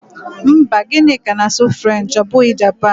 Mba, Gịnịka na-asụ French ọ bụghị Japan.